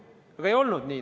Aga ei olnud nii.